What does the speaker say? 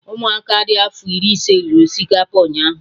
Ụmụ aka dị afọ ise riri osikapa ụnyaahụ